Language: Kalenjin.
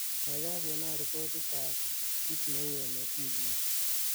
kaigai konon ripotit ab kiit neu emet wigini